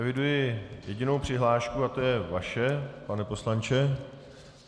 Eviduji jedinou přihlášku a to je vaše, pane poslanče.